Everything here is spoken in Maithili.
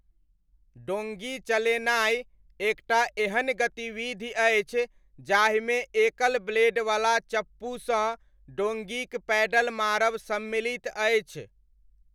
डोङ्गी चलेनाइ एक टा एहन गतिविधि अछि जाहिमे एकल ब्लेडवला चप्पूसँ डोङ्गीक पैडल मारब सम्मिलित अछि।